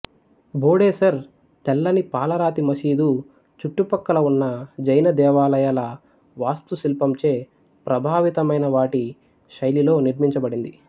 భోడేసర్ తెల్లని పాలరాతి మసీదు చుట్టుపక్కల ఉన్న జైన దేవాలయాల వాస్తుశిల్పంచే ప్రభావితమై వాటి శైలిలో నిర్మించబడింది